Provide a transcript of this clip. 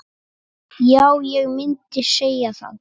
Já, ég myndi segja það.